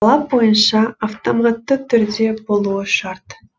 талап бойынша автоматты түрде болуы шарт